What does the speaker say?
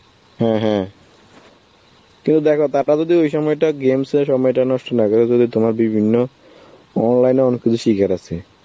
হ্যাঁ হ্যাঁ, কিন্তু দেখো তারা যদি ওই সময়টা games এ সময়টা নষ্ট না করে, যদি তোমার বিভিন্ন online এও অনেক কিছু শেখার আছে